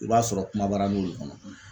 I b'a sɔrɔ kumabaaranin o de kɔnɔ.